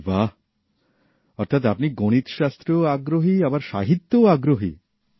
আরে বাঃ অর্থাৎ আপনি গণিতশাস্ত্রেও আগ্রহী আবার সাহিত্যেও আগ্রহী